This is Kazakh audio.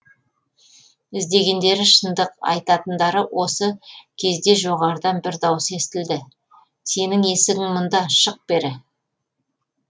іздегендері шындық айтатындары осы кездежоғарыдан бір дауыс естілді сенің есігің мұнда шық бері